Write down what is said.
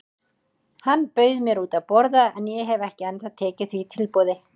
Hann bauð mér út að borða en ég hef ekki ennþá tekið því tilboð.